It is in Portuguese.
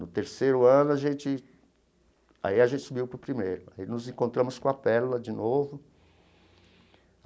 No terceiro ano a gente, aí a gente subiu para o primeiro, aí nos encontramos com a Pérola de novo.